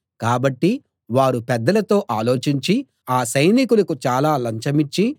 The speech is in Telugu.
కాబట్టి వారు పెద్దలతో ఆలోచించి ఆ సైనికులకు చాలా లంచమిచ్చి